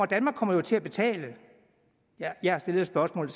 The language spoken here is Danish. danmark kommer jo til at betale jeg har stillet et spørgsmål